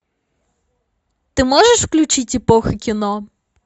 ты можешь включить эпоха кино